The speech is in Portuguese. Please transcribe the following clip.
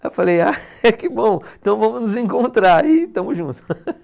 Aí eu falei, ah que bom, então vamos nos encontrar e estamos juntos.